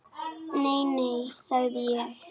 Nei, nei, sagði ég.